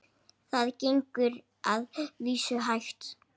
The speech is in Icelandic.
Það gengur að vísu hægt.